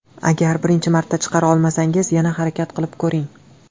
Agar birinchi marta chiqara olmasangiz, yana harakat qilib ko‘ring.